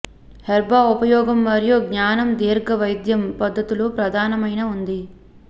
herb ఉపయోగం మరియు జ్ఞానం దీర్ఘ వైద్యం పద్ధతులు ప్రధానమైన ఉంది